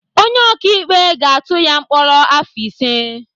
Onye ọkaikpe ga-atụ ya mkpọrọ afọ ise.